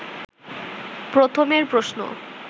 প্রথমের প্রশ্ন